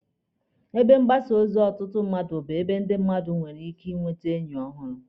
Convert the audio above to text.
Ebe mgbasa ozi ọtụtụ mmadụ bụ ebe ndị mmadụ nwere ike inwete enyi ọhụrụ.